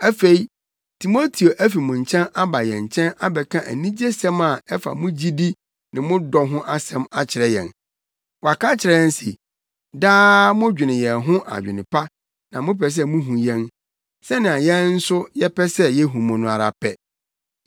Afei, Timoteo afi mo nkyɛn aba yɛn nkyɛn abɛka anigyesɛm a ɛfa mo gyidi ne mo dɔ ho asɛm akyerɛ yɛn. Waka akyerɛ yɛn se, daa modwene yɛn ho adwene pa na mopɛ sɛ muhu yɛn, sɛnea yɛn nso yɛpɛ sɛ yehu mo no ara pɛ.